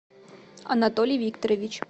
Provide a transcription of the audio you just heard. анатолий викторович